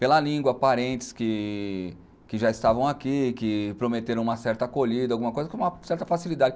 Pela língua, parentes que que já estavam aqui, que prometeram uma certa acolhida, alguma coisa com uma certa facilidade.